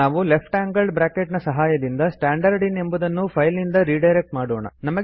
ನಾವು ಲ್ಟ್ ನ ಸಹಾಯದಿಂದ ಸ್ಟ್ಯಾಂಡರ್ಡಿನ್ ಎಂಬುದನ್ನು ಫೈಲ್ ನಿಂದ ರೆಡೈರೆಕ್ಟ್ ಮಾಡೋಣ